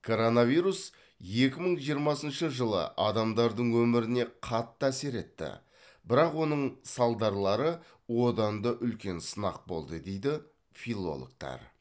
коронавирус екі мың жиырмасыншы жылы адамдардың өміріне қатты әсер етті бірақ оның салдарлары одан да үлкен сынақ болды дейді филологтар